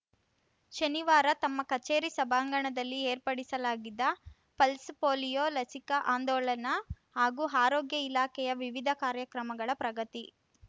ಶನಿವಾರ ತಮ್ಮ ಕಚೇರಿ ಸಭಾಂಗಣದಲ್ಲಿ ಏರ್ಪಡಿಸಲಾಗಿದ್ದ ಪಲ್ಸ್‌ ಪೋಲಿಯೋ ಲಸಿಕಾ ಆಂದೋಲನ ಹಾಗೂ ಆರೋಗ್ಯ ಇಲಾಖೆಯ ವಿವಿಧ ಕಾರ್ಯಕ್ರಮಗಳ ಪ್ರಗತಿ